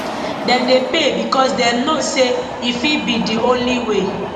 dem dey pay becos dem know say e fit be di only way